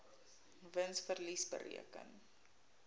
wins verlies bereken